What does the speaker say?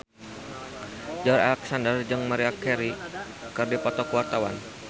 Joey Alexander jeung Maria Carey keur dipoto ku wartawan